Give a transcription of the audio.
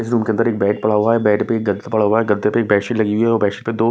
इस रूम के अंदर एक बेड पड़ा हुआ है बेड पे एक गद्दा पड़ा हुआ है गद्दे पे एक बेसशीट लगी हुई है और बेसशीट पे दो--